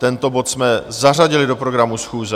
Tento bod jsme zařadili do programu schůze.